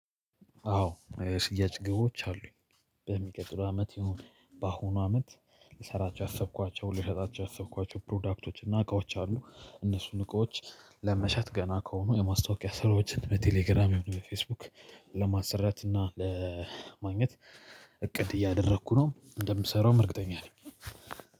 አዎ የሽያጭ ግቦች አሉኝ። በሚቀጥለው አመት ይሁን በአሁኑ አመት ልሰራቸው ያሰብኳቸው ሊሸጣቸው ያሰብኳቸው ፕሮዳክቶች እና እቃዎች አሉ። እነሱን እቃዎች ለመሸጥ ገና ከሆኑ የማስታወቂያ ሰራዎችን በቴሌግራም ሆነ በፌስቡክ ለማሳራት እና ለማግኘት። እቅድ እያደረኩ ነው እንደምሰራውም እርግጠኛ ነኝ።